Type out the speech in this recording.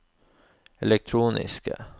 elektroniske